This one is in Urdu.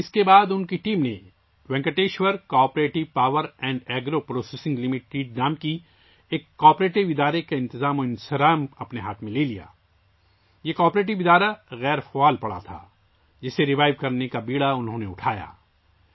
اس کے بعد ان کی ٹیم نے Venkateshwara cooperative power and agro processing limited نام کی ایک کوآپریٹو تنظیم کا انتظام سنبھالا ، یہ کوآپریٹو تنظیم غیر فعال تھی، جسے انہو ں نے بحال کرنے کا بیڑا اٹھایا